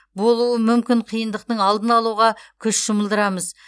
болуы мүмкін қиындықтың алдын алуға күш жұмылдырамыз